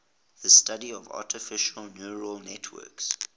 the study of artificial neural networks